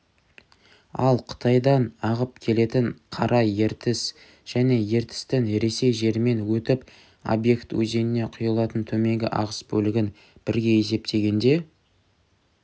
ал қытайдан ағып келетін қара ертіс және ертістің ресей жерімен өтіп обьект өзеніне құйылатын төменгі ағыс бөлігін бірге есептегенде